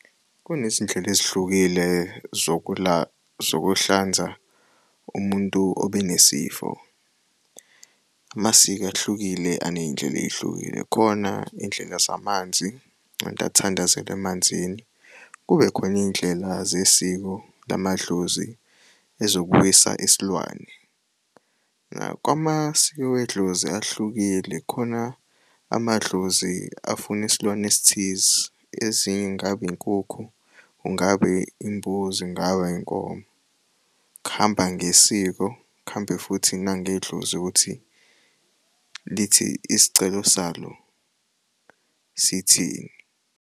Kunezindlela ezihlukile zokuhlanza umuntu obenesifo. Amasiko ahlukile aney'ndlela ey'hlukile, khona iy'ndlela zamanzi umuntu athandazele emanzini. Kube khona iy'ndlela zesiko lamadlozi ezokubuyisa isilwane. Kwamasiko wedlozi ahlukile khona amadlozi afuna isilwane esithize, ezinye kungaba inkukhu, kungabe imbuzi, kungaba inkomo. Kuhamba ngesiko, kuhambe futhi nangedlozi ukuthi lithi isicelo salo sithini.